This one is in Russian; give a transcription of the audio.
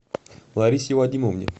ларисе вадимовне